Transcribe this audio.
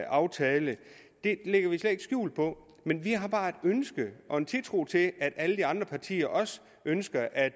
aftale det lægger vi slet ikke skjul på men vi har bare et ønske og en tiltro til at alle de andre partier også ønsker at